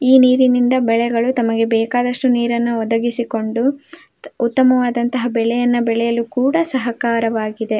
ಈ ನೀರಿನಿಂದ ಬೆಳೆಗಳು ತಮಗೆ ಬೇಕಾದಷ್ಟು ನೀರನ್ನು ಒದಗಿಸಿಕೊಂಡು ಉತ್ತಮವಾದಂಥ ಬೆಳೆಗಳನ್ನು ಬೆಳೆಯಲು ಕೂಡ ಸಹಕಾರವಾಗಿದೆ.